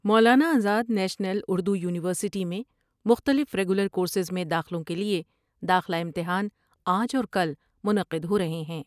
مولانا Azad national Urdu university میں مختلف regular course میں داخلوں کے لئے داخلہ امتحان آج اور کل منعقد ہور ہے ہیں ۔